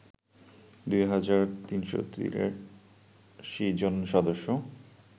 দুই হাজার ৩৮৩ জন সদস্য